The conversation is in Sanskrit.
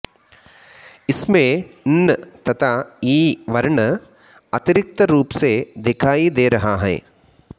इसमें न् तथा ई वर्ण अतिरिक्त रूप से दिखायी दे रहा है